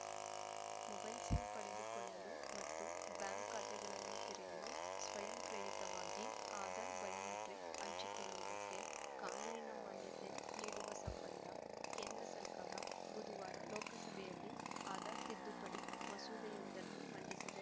mobile sim ಪಡೆದುಕೊಳ್ಳಲು ಮತ್ತು bank ಖಾತೆಗಳನ್ನು ತೆರೆಯಲು ಸ್ವಯಂ ಪ್ರೇರಿತವಾಗಿ ಆಧಾರ್‌ ಬಯೋಮೆಟ್ರಿಕ್‌ ಹಂಚಿಕೊಳ್ಳುವುದಕ್ಕೆ ಕಾನೂನಿನ ಮಾನ್ಯತೆ ನೀಡುವ ಸಂಬಂಧ ಕೇಂದ್ರ ಸರ್ಕಾರ ಬುಧವಾರ ಲೋಕಸಭೆಯಲ್ಲಿ ಆಧಾರ್‌ ತಿದ್ದುಪಡಿ ಮಸೂದೆಯೊಂದನ್ನು ಮಂಡಿಸಿದೆ